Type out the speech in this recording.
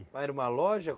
Lá era uma loja?